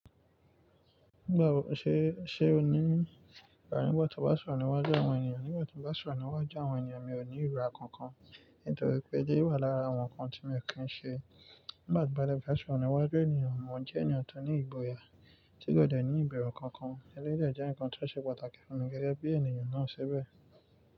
Ni, Nígbà tí n ba soro níwájú àwọn ènìyàn, mi ò ní ìrora kankan, nítorí pé eleyii wà lára àwọn nǹkan tí mi o kí ń ṣe. Nígbà tí ba de fe sọro níwájú ènìyàn, mo n jẹ́ ènìyàn tó ní ìgboyà, tí kò dẹ̀ ní ìbẹ̀rù kankan. Eléyii de jẹ́ ǹkan ti ó ṣe pàtàkì fún mi gẹ́gẹ́ bí ènìyàn náà ṣibe.